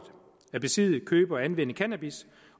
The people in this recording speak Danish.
at besidde købe og anvende cannabis